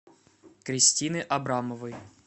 кристины абрамовой